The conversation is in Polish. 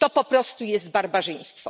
To po prostu jest barbarzyństwo.